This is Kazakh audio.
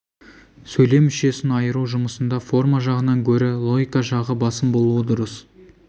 сөйлем мүшесін айыру жұмысында форма жағынан гөрі логика жағы басым болуы дұрыс